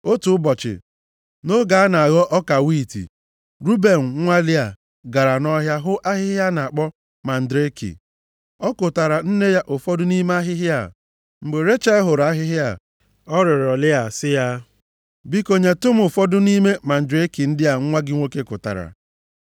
Otu ụbọchị, nʼoge a na-aghọ ọka wiiti, Ruben nwa Lịa, gara nʼọhịa hụ ahịhịa a na-akpọ mandreki. + 30:14 Mandreki, bụ ahịhịa nke ụmụ mmadụ na-asị, na o nwere ọgwụ na-eweta mkpali ọchịchọ mmekọrịta nʼahụ mmadụ, na-emekwa ka nwanyị ọbụla tara ya tụrụ ime. \+xt Abk 7:13\+xt* Ọ kụtaara nne ya ụfọdụ nʼime ahịhịa a. Mgbe Rechel hụrụ ahịhịa a, ọ rịọrọ Lịa sị ya, “Biko nyetụ m ụfọdụ nʼime mandreki ndị a nwa gị nwoke kụtara.”